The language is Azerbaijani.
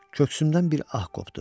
Köksümdən bir ah qopdu.